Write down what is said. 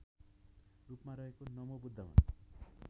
रूपमा रहेको नमोबुद्धमा